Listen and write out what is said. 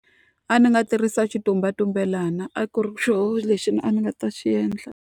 Adzi nga tirhisa xitumbelelana a ku ri xona lexi a ni nga ta xi endla.